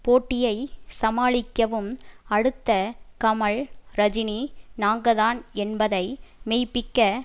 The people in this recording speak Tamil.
போட்டியை சமாளிக்கவும் அடுத்த கமல் ரஜினி நாங்கதான் என்பதை மெய்ப்பிக்க